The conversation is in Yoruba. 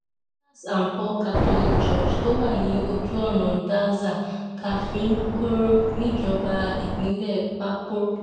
peters and paul catholic church tó wà ní ojú ọ̀nà daza káfíń-korò níjọba ìbílẹ̀ pàápọ̀rọ́